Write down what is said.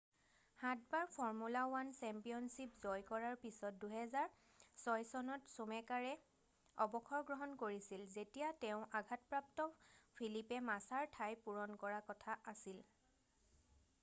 সাতবাৰ formula 1 championship জয় কৰাৰ পিছত 2006 চনত চুমেকাৰে অৱসৰ গ্ৰহণ কৰিছিল যেতিয়া তেঁও আঘাতপ্ৰাপ্ত ফিলিপে মাছাৰ ঠাই পূৰণ কৰা কথা আছিল